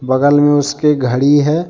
बगल में उसके घड़ी है।